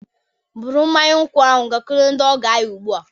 Bụrụ mmanya nkwụ ahụ gakwuru ndị ọgọ anyị ugbu a!